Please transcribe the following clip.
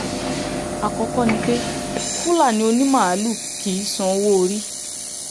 àkọ́kọ́ ni pé fúlàní onímaalùú kì í san owó-orí